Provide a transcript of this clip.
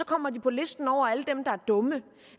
kommer de på listen over alle dem der er dumme